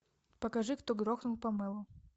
покажи кто грохнул памелу